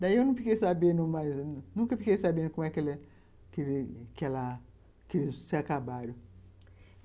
Daí eu não fiquei sabendo mais, nunca fiquei sabendo como ela, como eles se acabaram.